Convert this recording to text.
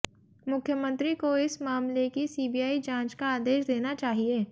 मुख्यमंत्री को इस मामले की सीबीआई जांच का आदेश देना चाहिए